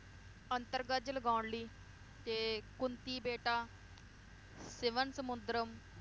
ਅੰਤਰਗਜ ਲਗੌਨਲੀ, ਤੇ ਕੁੰਤੀਬੇਟਾ ਸਿਵਨਸਮੁਨਦਰਮ,